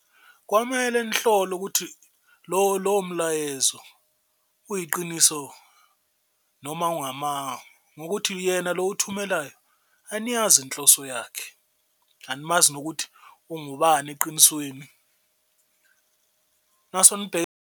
Kwamele nihlole ukuthi lowo mlayezo uyiqiniso noma ungamanga ngokuthi yena lo owuthumelayo aniyazi inhloso yakhe, animazi nokuthi ungubani eqinisweni naso .